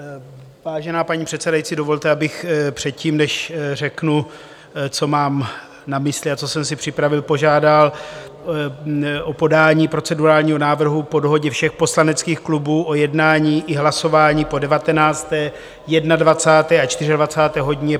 Vážená paní přesedající, dovolte, abych předtím, než řeknu, co mám na mysli a co jsem si připravil, požádal o podání procedurálního návrhu po dohodě všech poslaneckých klubů o jednání i hlasování po 19., 21. a 24. hodině.